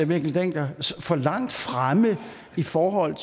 mikkel dencker for langt fremme i forhold